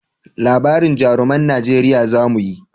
Labarin jaruman najeriya za mu yi